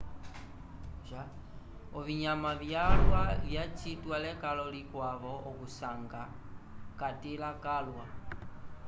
ovinyama vyalwa vacitiwa lekalo likwavo okuvisanga catῖla calwa.